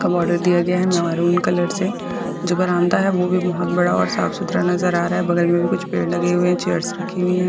का बोर्डर दिया गया है मैरून कलर से जो बरामदा है वो भी बहोत बड़ा और साफ-सुथरा नजर आ रहा है बगल में भी कुछ पेड़ लगे हुए हैं चेयर्स रखी हुई हैं।